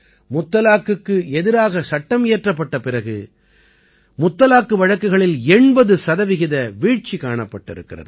முத்தலாக்குக்கு எதிராகச் சட்டம் இயற்றப்பட்ட பிறகு முத்தலாக்கு வழக்குகளில் 80 சதவீத வீழ்ச்சி காணப்பட்டிருக்கிறது